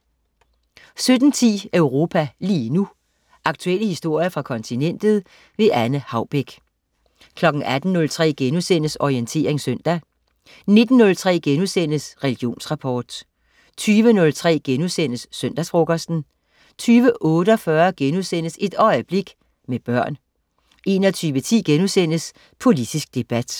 17.10 Europa lige nu. Aktuelle historier fra kontinentet. Anne Haubek 18.03 Orientering søndag* 19.03 Religionsrapport* 20.03 Søndagsfrokosten* 20.48 Et øjeblik, med børn* 21.10 Politisk debat*